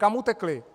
Kam utekli?